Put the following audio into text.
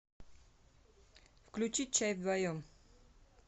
включить чай вдвоем